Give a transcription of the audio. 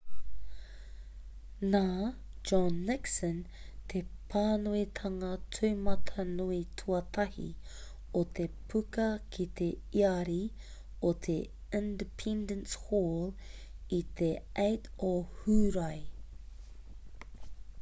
nā john nixon te pānuitanga tūmatanui tuatahi o te puka ki te iari o te independence hall i te 8 o hūrae